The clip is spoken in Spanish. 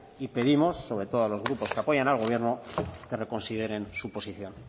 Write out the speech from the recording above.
y pedimos sobre todo a los grupos que apoyan al gobierno que reconsideren su posición